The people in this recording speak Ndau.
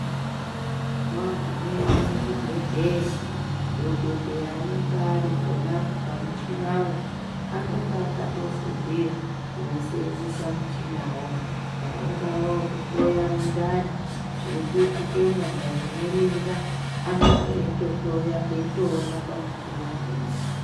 Wagumeyo muchibhedhleya, dhokodheya anenge arikhonapo pamuchinawo. Anonga akatofundira kuwusenzisa muchinawo. Ungawa wokuhloya mundane, zvirikuyitike muntu anemimba , anonge eyitohloya eyitowona pamuchina ponapo.